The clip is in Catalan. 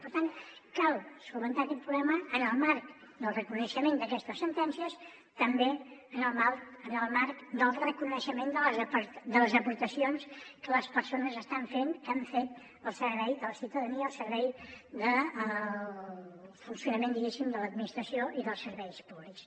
per tant cal resoldre aquest problema en el marc del reconeixement d’aquestes sentències també en el marc del reconeixement de les aportacions que les persones estan fent que han fet al servei de la ciutadania al servei del funcionament diguéssim de l’administració i dels serveis públics